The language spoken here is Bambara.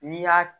N'i y'a